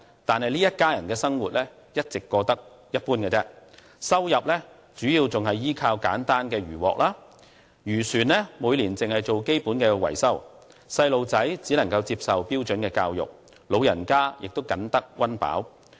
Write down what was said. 但是，這一家人的生活卻一直過得一般，收入仍主要依靠簡單的漁穫，漁船每年只做基本維修，小孩子只能接受標準教育，老人家亦僅得溫飽。